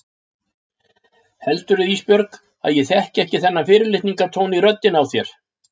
Heldurðu Ísbjörg að ég þekki ekki þennan fyrirlitningartón í röddinni á þér?